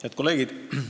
Head kolleegid!